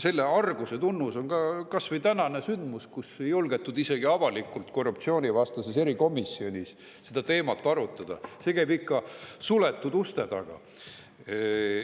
Selle arguse tunnus on kas või tänane sündmus, kui ei julgetud isegi korruptsioonivastases erikomisjonis seda teemat avalikult arutada, see käis ikka suletud uste taga.